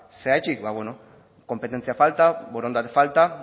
zergatik ba konpetentzia falta borondate falta